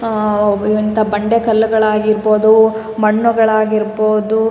ಅಹ್ ಅಲ್ಲಾ ಅಹ್ ನೋಡ್ತಿವಿ ನಮ ನಮ್ಕಡೆ ಹೆಚ್ಚಾಗಿ ನಾವ್ ಆಂಧ್ರ ಪ್ರದೇಶದಿಂದ ಬರುವಂತಾ--